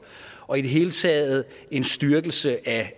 og i det hele taget en styrkelse af